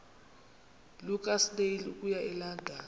lukasnail okuya elondon